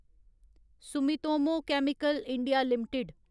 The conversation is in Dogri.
Sumitomo Chemical India limited